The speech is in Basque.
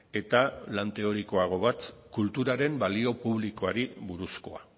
eta lan teorikoago bat kulturaren balio publikoari buruzkoa